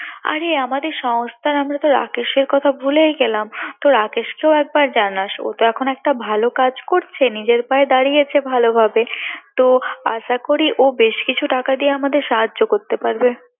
আরে আমাদের সংস্থার আমরা তো রাকেশর কথা তো আমরা ভুলেই গেলাম তো রাকেশকে ও একবার জানাস ও তো এখন একটা ভালো কাজ করছে নিজের পায়ে দাঁড়িয়েছে ভালোভাবে তো আশা করি বেশ কিছু টাকা দিয়ে ও আমাদের সাহায্য করতে পারবে